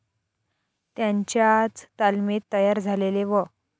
त्यांच्याच तालमीत तयार झालेले व.